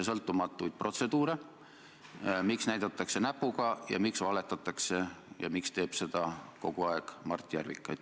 Selle võtsite te ka üheks oma lipukirjaks selle koalitsiooni prioriteetide seas ja sa oled seda väga palju rõhutanud.